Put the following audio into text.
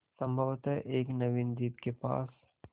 संभवत एक नवीन द्वीप के पास